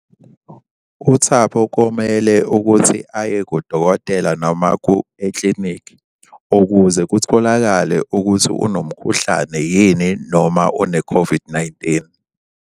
UThabo komele ukuthi aye kudokotela noma eklinikhi ukuze kutholakale ukuthi unomkhuhlane yini noma une-COVID-19.